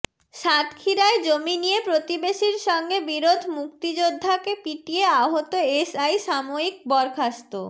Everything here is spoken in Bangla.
সাতক্ষীরায় জমি নিয়ে প্রতিবেশীর সঙ্গে বিরোধ মুক্তিযোদ্ধাকে পিটিয়ে আহত এসআই সাময়িক বরখাস্ত